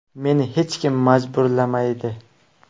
Meni hech kim majburlamaydi.